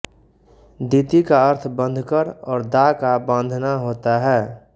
दिति का अर्थ बँधकर और दा का बाँधना होता है